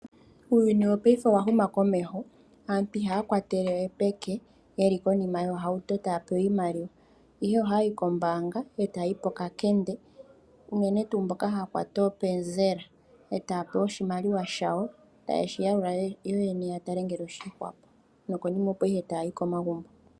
Eputuko li li muuyuni mu, omathimbo gamwe ohali ningi aantu ya kale aanyenge, oshoka, kehe shimwe oshi na owala eshina. Noku teta omafo komiti nenge kiimeno mbyoka haya kunu miikunino yawo, otaya longitha omashina.